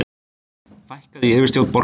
Fækkað í yfirstjórn borgarinnar